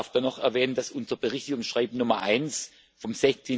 Ich darf noch erwähnen, dass unser Berichtigungsschreiben Nummer 1 vom